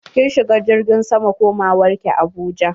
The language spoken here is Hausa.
Kin shiga jirgin sama komawar ki abuja?